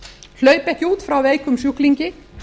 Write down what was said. hlaupi ekki út frá veikum sjúklingi